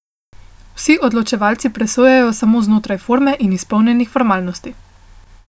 Vsi odločevalci presojajo samo znotraj forme in izpolnjenih formalnosti.